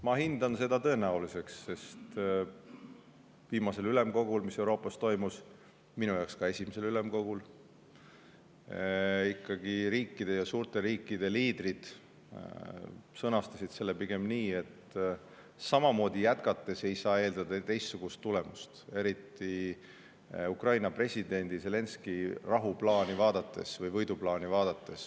Ma hindan seda tõenäoliseks, sest viimasel ülemkogul, mis Euroopas toimus, minu jaoks ka esimesel ülemkogul, sõnastasid ikkagi riikide, ka suurte riikide liidrid selle pigem nii, et samamoodi jätkates ei saa eeldada teistsugust tulemust, eriti kui vaadata Ukraina presidendi Zelenskõi rahuplaani või võiduplaani.